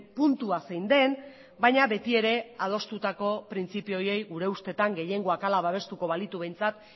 puntua zein den baina beti ere adostutako printzipio horiei gure ustetan gehiengoak hala babestuko balitu behintzat